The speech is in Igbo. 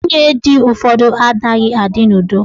Nwunye di ụfọdụ anaghị adị n'udo.